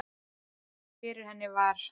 Fyrir henni var